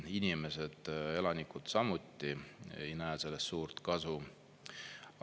Inimesed, elanikud samuti ei näe sellest suurt kasu.